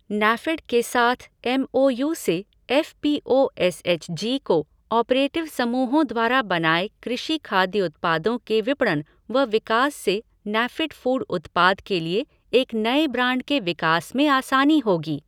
NAFED के साथ M O U से F P O S H G cooperative समूहों द्वारा बनाए कृषि खाद्य उत्पादों के विपणन व विकास से नैफ़ेड फ़ूड उत्पाद के लिए एक नए ब्रांड के विकास में आसानी होगी।